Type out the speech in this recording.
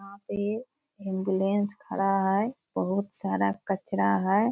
यहाँ पे एम्बुलेंस खड़ा है बहुत सारा कचरा है।